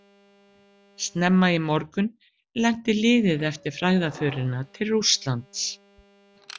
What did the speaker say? Snemma í morgun lenti liðið eftir frægðarförina til Rússlands.